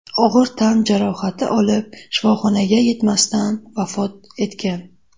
og‘ir tan jarohati olib, shifoxonaga yetmasdan vafot etgan.